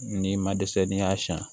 Ni ma dɛsɛ n'i y'a siɲɛ